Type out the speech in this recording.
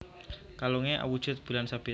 Kalunge awujud bulan sabit